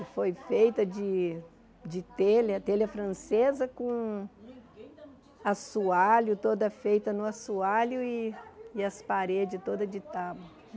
E foi feita de de telha, telha francesa com assoalho, toda feita no assoalho e e as paredes todas de tábuas.